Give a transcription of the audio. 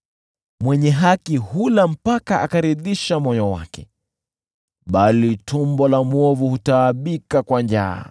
Mwenye haki hula mpaka akaridhisha moyo wake, bali tumbo la mwovu hutaabika kwa njaa.